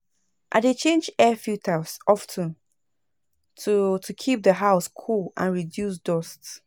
I dey change air filters of ten to to keep the house cool and reduce dust.